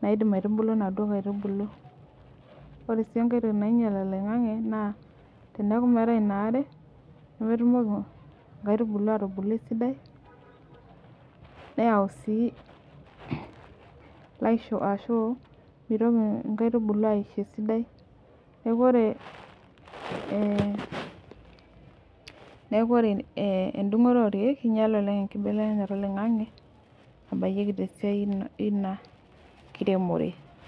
naidim aitubulu naduo kaitubulu. Ore sii engai toki nainyal oloing'ang'e naa teneaku meata inaare nemetumoki inkaitubulu aatubulu esidai neyau sii laishu ashuu meitoki inkaitubulu aisho esidai. Neaku ore eeh neaku ore eh endung'ore olkeek einyala oleng' enkibelekenyata oloing'ang'e nabayieki tesiai eina kiremore.